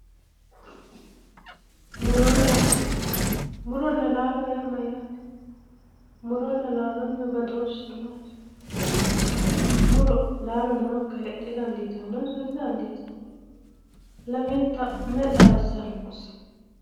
Muronna laalo, muronna laalo yaa mayyate, muronna laalonihu badooshshise maati ,muro laalo noyikkiha heedhe dandiittanonso didandiittano ,lamenta mayi xaadisanosi ?